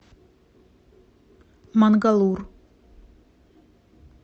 мангалур